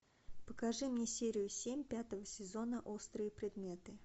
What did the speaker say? покажи мне серию семь пятого сезона острые предметы